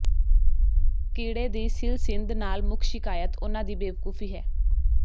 ਕੀੜੇ ਦੀ ਸਿਲਸਿਂਧ ਨਾਲ ਮੁੱਖ ਸ਼ਿਕਾਇਤ ਉਨ੍ਹਾਂ ਦੀ ਬੇਵਕੂਫੀ ਹੈ